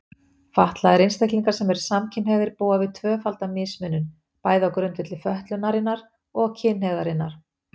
Fatlaðir einstaklingar sem eru samkynhneigðir búa við tvöfalda mismunun, bæði á grundvelli fötlunarinnar og kynhneigðarinnar.